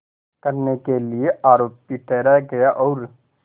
करने के लिए आरोपी ठहराया गया और